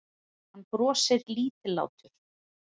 Hann brosir lítillátur.